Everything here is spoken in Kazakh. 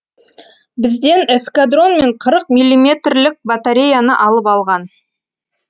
бізден эскадрон мен қырық миллиметрлік батареяны алып алған